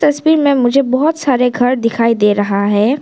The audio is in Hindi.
तस्वीर में मुझे बहोत सारे घर दिखाई दे रहा है।